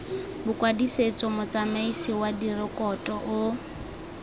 bokwadisetso motsamaisi wa direkoto o